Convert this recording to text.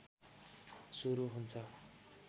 सुरु हुन्छ